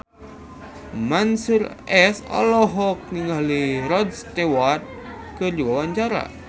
Mansyur S olohok ningali Rod Stewart keur diwawancara